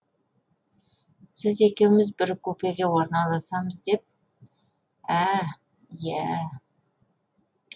сіз екеуміз бір купеге орналасамыз деп ә ә иә ә